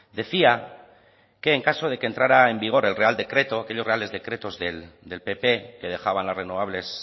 decía que en caso de que entrara en vigor el real decreto aquellos reales decretos del pp que dejaban las renovables